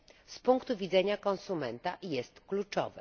z punktu widzenia konsumenta jest kluczowe.